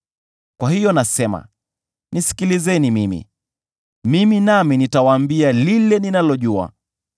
“Kwa hiyo nasema: Nisikilizeni mimi; mimi nami nitawaambia lile ninalojua.